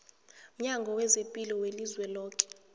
mnyango wezaphilo welizweloke